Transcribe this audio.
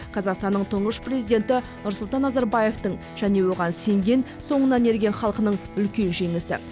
қазақстанның тұңғыш президенті нұрсұлтан назарбаевтың және оған сенген соңынан ерген халқының үлкен жеңісі